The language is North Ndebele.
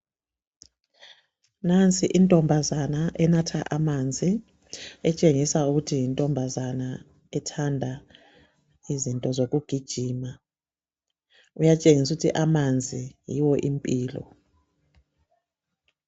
Nansi intombazana enatha amanzi. Iyatshengisa ukuba yintombazana ethanda ukugijima njalo itshengisa ukuba amanzi yimpilo.